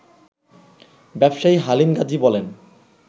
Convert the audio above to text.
ব্যবসায়ী হালিম গাজী বলেন